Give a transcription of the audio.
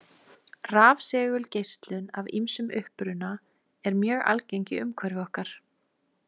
Rafsegulgeislun af ýmsum uppruna er mjög algeng í umhverfi okkar.